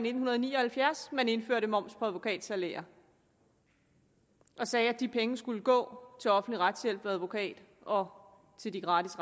i nitten ni og halvfjerds man indførte moms på advokatsalærer og sagde at de penge skulle gå til offentlig retshjælp ved advokat og til de gratis